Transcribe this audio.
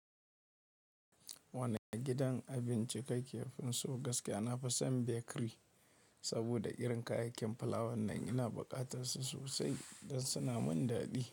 Wane gidan abinci kake finso? Gaskiya na fi son Bakery saboda irin kayakin fulawan nan ina buƙatan su sosai dan suna mun daɗi.